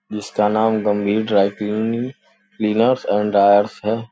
इसका नाम Gambhir dry cleaning cleaners and dryers है।